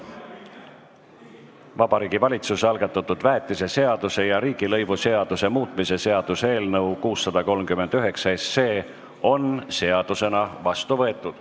Vabariigi Valitsuse algatatud väetiseseaduse ja riigilõivuseaduse muutmise seaduse eelnõu 639 on seadusena vastu võetud.